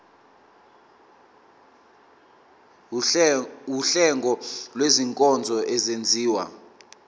wuhlengo lwezinkonzo ezenziwa